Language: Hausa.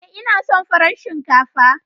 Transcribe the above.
Ee, ina son farar shinkafa.